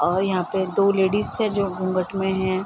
और यहाँ पे दो लेडिज है जो घूँघट मे है।